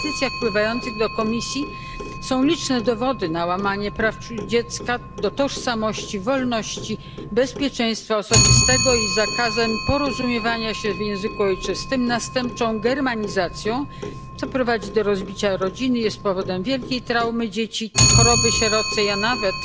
W petycjach wpływających do Komisji są liczne dowody na łamanie praw dziecka, tożsamości, wolności, bezpieczeństwa osobistego i na zakaz porozumiewania się w języku ojczystym, następczą germanizację, co prowadzi do rozbicia rodziny i jest powodem wielkiej traumy dzieci, choroby sierocej, a nawet